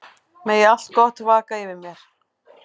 Megi allt gott vaka yfir þér.